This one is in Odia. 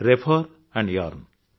refer earn